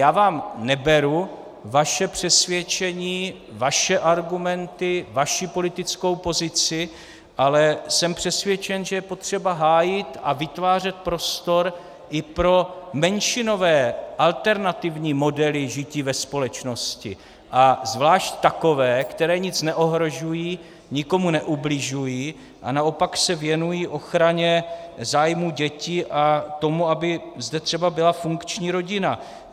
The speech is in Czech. Já vám neberu vaše přesvědčení, vaše argumenty, vaši politickou pozici, ale jsem přesvědčen, že je potřeba hájit a vytvářet prostor i pro menšinové alternativní modely žití ve společnosti, a zvláště takové, které nic neohrožují, nikomu neubližují a naopak se věnují ochraně zájmů dětí a tomu, aby zde třeba byla funkční rodina.